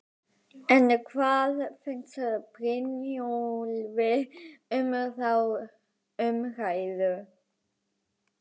En hvað finnst Brynjólfi um þá umræðu?